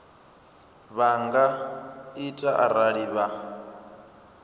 vha nga ita arali vha